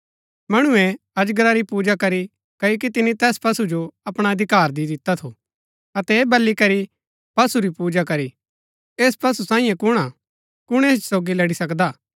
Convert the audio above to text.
मणुऐ अजगरा री पूजा करी क्ओकि तिनी तैस पशु जो अपणा अधिकार दि दिता थू अतै ऐह बली करी पशु री पूजा करी ऐस पशु सांईये कुणआ कुण ऐस सोगी लड़ी सकदा